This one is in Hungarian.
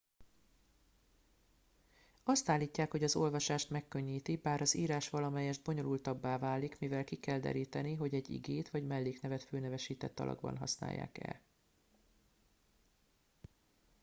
azt állítják hogy az olvasást megkönnyíti bár az írás valamelyest bonyolultabbá válik mivel ki kell deríteni hogy egy igét vagy melléknevet főnevesített alakban használják e